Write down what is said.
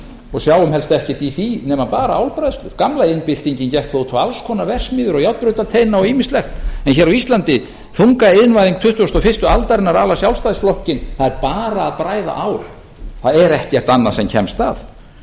og sjáum helst ekkert í því nema bara álbræðslur gamla iðnbyltingin gekk þó út á alls konar verksmiðjur og járnbrautarteina og ýmislegt en hér á íslandi þungaiðnvæðing tuttugasta og fyrstu aldarinnar sjálfstæðisflokkinn það er bara að bræða ál það er ekkert annað sem kemst að